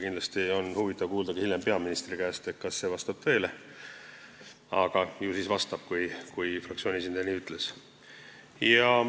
Kindlasti on huvitav kuulda hiljem peaministri käest, kas see vastab tõele, aga ju siis vastab, kui fraktsiooni esindaja nii ütles.